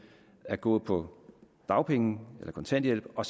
at gå på dagpenge eller kontanthjælp og